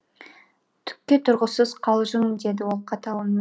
түкке тұрғысыз қалжың деді ол қатал үнмен